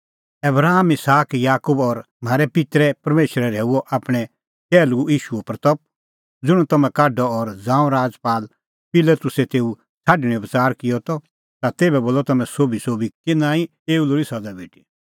आबराम इसहाक याकूब और म्हारै पित्तरे परमेशरै की आपणैं टैहलू ईशूए महिमां ज़ुंण तम्हैं ढाकअ और ज़ांऊं राजपाल पिलातुसै तेऊ छ़ाडणेंओ बच़ार किअ ता तेभै बोलअ तम्हैं सोभीसोभी कि नांईं एऊ लोल़ी सज़ा भेटी